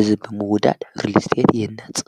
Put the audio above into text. እዝብምዉዳድ ብርልስጢአት የነጽ።